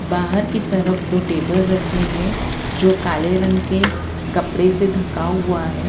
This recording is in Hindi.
बाहर की तरफ दो टेबल रखे हैं जो काले रंग के कपड़े से ढका हुआ है।